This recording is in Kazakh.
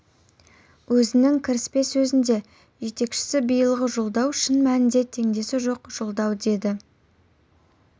өзінің кіріспе сөзінде жетекшісі биылғы жолдау шын мәнінде теңдесі жоқ жолдау деді